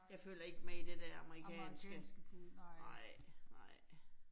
Jeg følger ikke med i det der amerikanske. Nej, nej